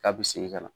K'a bi segin ka na